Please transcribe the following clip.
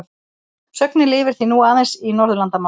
Sögnin lifir því nú aðeins í Norðurlandamálum.